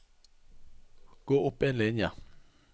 Gå opp en linje